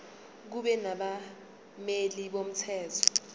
kube nabameli bomthetho